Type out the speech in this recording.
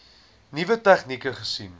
nuwe tegnieke gesien